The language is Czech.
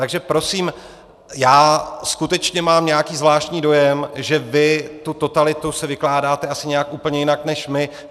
Takže prosím, já skutečně mám nějaký zvláštní dojem, že vy tu totalitu si vykládáte asi nějak úplně jinak než my.